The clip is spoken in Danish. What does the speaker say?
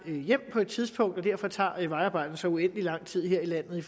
hjem på et tidspunkt og derfor tager vejarbejde så uendelig lang tid her i landet i